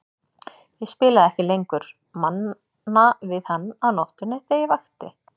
Ég spilaði ekki lengur Manna við hann á nóttunni þegar ég vakti.